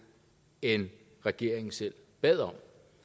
end regeringen selv bad om